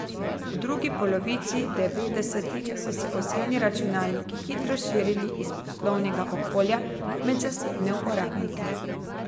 V drugi polovici devetdesetih so se osebni računalniki hitro širili iz poslovnega okolja med zasebne uporabnike.